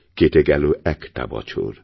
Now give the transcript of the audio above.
কেটে গেল একটা বছর